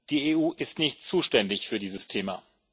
Die EU ist nicht zuständig für dieses Thema.